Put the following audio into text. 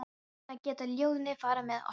Svona geta ljóðin farið með okkur.